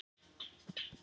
Steinum